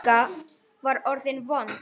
Magga var orðin vond.